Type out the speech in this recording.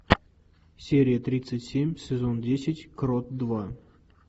серия тридцать семь сезон десять крот два